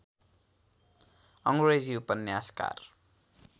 अङ्ग्रेजी उपन्यासकार